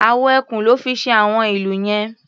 Awọ ẹkùn lọ́ fi ṣe àwọn ìlù yẹn.